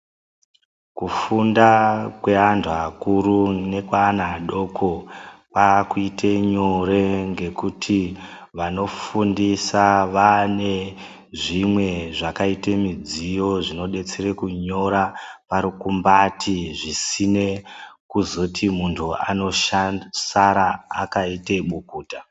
Kufunda kweantu akuru nekweana adoko kwakuite nyore ngekuti vanofundisa vane zvimwe zvakaite midziyo zvinodetsere kunyora varikumbati zvisine kuzoti muntu anosara akaite bukuta.